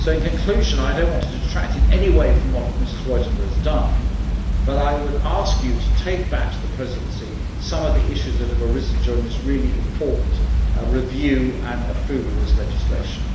In conclusion, I do not want to detract in any way from what Ms Roithová has done, but I would ask you to take back to the Presidency some of the issues that have arisen during this really important review and approval of this legislation.